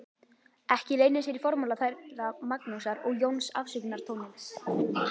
Ekki leynir sér í formála þeirra Magnúsar og Jóns afsökunartónninn.